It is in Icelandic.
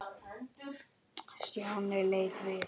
Stjáni leit við.